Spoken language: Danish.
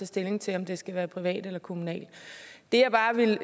stilling til om det skal være privat eller kommunalt det jeg bare vil